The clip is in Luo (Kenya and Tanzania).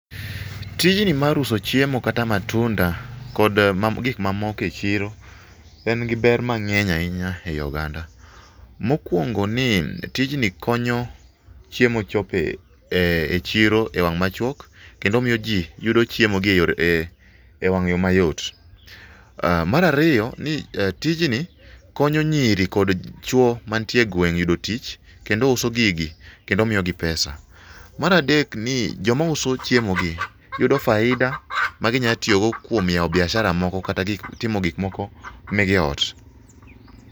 Tijni mar uso chiemo kata matunda kod gik mamoko echiro en gi ber mang'eny ahinya eyi oganda. Mokuongoni tijni konyo chiemo chopo echiro ewang' machuok kendo miyoji yudo chiemogi eyore ewang'yo mayot. Mar ariyo ,ni tijni konyo nyiri kod chuo mantie egweng' yudo tich kendo uso gigi kendo miyo pesa. Mar adek ni joma uso chiemogi yudo faida magi nya tiyogo kuom yawo biashara moko kata timo gik moko ne gie oot.